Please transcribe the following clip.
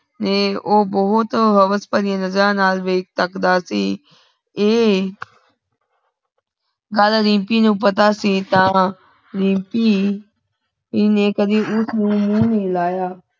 ਨੇ ਊ ਭੋਤ ਹਵਸ ਭਰੀ ਨਜਰਾ ਨਾਲ ਵੇ ਵੇਖ ਤਕਦਾ ਸੀ। ਐ ਗੱਲ ਰੀਮਪੀ ਨੂੰ ਪਤਾ ਸੀ ਤਾਂ ਰੀਮਪੀ ਨੇ ਕਦੀ ਉਸ ਨੂੰ ਮੂ ਨਹੀਂ ਲਾਯਾ।